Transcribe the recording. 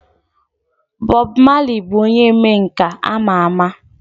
Bob Marley bụ onye omenkà ama ama.